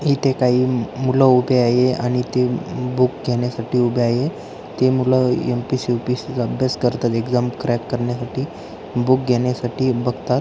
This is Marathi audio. इथे काही मूलं उभे आहे आणि ते अम काही बूक घेण्यासाठी उभे आहे ते मूलं एम.पी.एस.सी. यू.पी.एस.सी. चा अभ्यास करतात एक्साम क्रॅक करण्यासाठी बूक घेण्यासाठी बघतात.